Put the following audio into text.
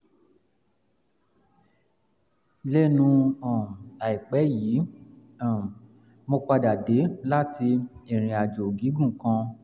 um lẹ́nu um àìpẹ́ yìí ni um mo padà dé láti ìrìn àjò gígùn kan